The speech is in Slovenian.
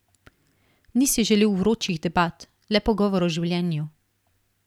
Ni si želel vročih debat, le pogovor o življenju.